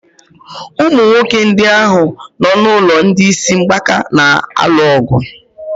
Ụmụ nwoke ndị ahụ nọ n'ụlọ ndị isi mgbaka na-alu ọgụ.